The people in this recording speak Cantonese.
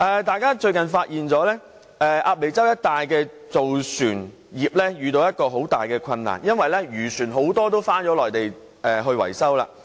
大家最近發現鴨脷洲一帶的造船業遇到一個很大的困難，因為很多漁船也轉到內地維修。